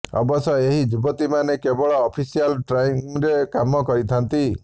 ଅବଶ୍ୟ ଏହି ଯୁବତୀମାନେ କେବଳ ଅଫିସିଆଲ ଟାଇମ୍ରେ କାମ କରିଥାନ୍ତି